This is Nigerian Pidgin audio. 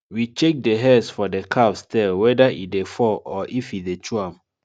we check the hairs for the calves tail whether e dey fall or if e dey chew am